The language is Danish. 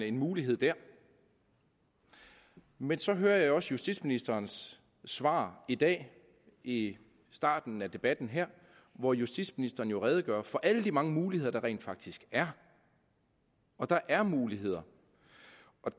en mulighed der men så hører jeg også justitsministerens svar i dag i starten af debatten her hvor justitsministeren jo redegør for alle de mange muligheder der rent faktisk er og der er muligheder